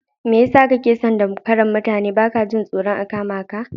Mai yasa kake son damfaran mutane baka jin tsoron a kamaka?